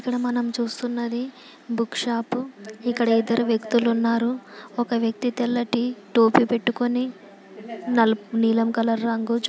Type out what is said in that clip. ఇక్కడ మనం చూస్తున్నది బుక్ షాప్ ఇక్కడ ఇద్దరు వ్యక్తులు ఉన్నారు. ఒక వ్యక్తి తెల్లటి టోపీ పెట్టుకోని నలుపు నీలం కలర్ రంగు--